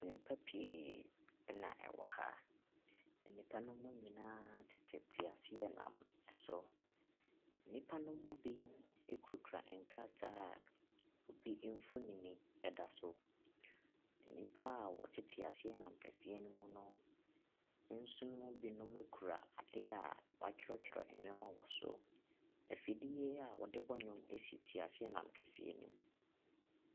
Nnipa pii na wɔwɔ ka, na nnipa no mu nyinaa tete teaseanam so. Nnipa no mu bi kurakura nkrataa a obi mfonin da so. Nnipa a wɔte teaseanam kɛseɛ no mu no nso mu binom kura adeɛ a wɔatwerɛtwerɛ nneɛma wɔn so. Afidie a wɔde b nnwom si teaseanam kɛseɛ no mu.